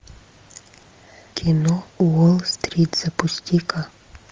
кино уолл стрит запусти ка